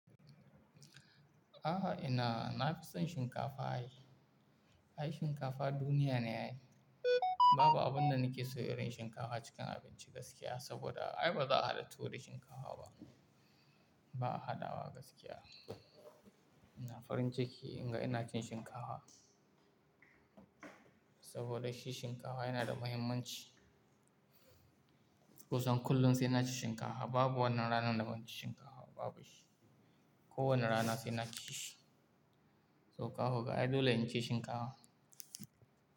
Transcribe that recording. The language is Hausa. A'a ina, na fi son shinkafa ayi. Ai shinkafa duniya ne ayi. Babu abin da nake so irin shinkafa cikin abinci gaskiya saboda ai baza a hada tuwo da shinkafa ba. Ba a hadawa gaskiya. Ina farin ciki in ga ina cin shinkafa. Saboda shi shinkafa yana da muhimmanci. Kosan kullum sai na ci shinkafa, babu wannan ranar da ban ci shinkafa ba babu shi. Ko wane rana sai na ci shi. Toh kako ga ai dole in ci shinkafa.